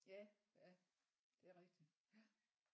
Ja ja det er rigtigt ja